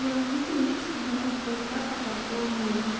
я увидела сейчас одного паука пол мыла